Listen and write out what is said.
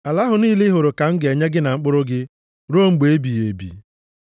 Ala ahụ niile ị hụrụ ka m ga-enye gị na mkpụrụ gị ruo mgbe ebighị ebi.